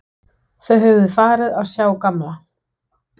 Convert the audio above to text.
Þau höfðu farið að sjá gamla